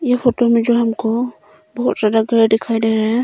ये फोटो में जो हमको बहोत ज्यादा घर दिखाई दे रहा है।